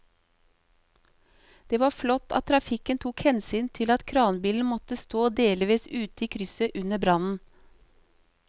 Det var flott at trafikken tok hensyn til at kranbilen måtte stå delvis ute i krysset under brannen.